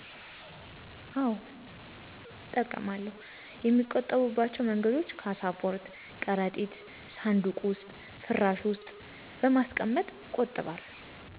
አወ እጠቀማለሁ የሚቆጠብ ባቸው መንገዶችም ካሳፖርት፣ ከረጢት፣ ሳንዱቅ ዉስጥ፣ ፍራሽ ዉስጥ በማስቀመጥ እቆጥባለሁ።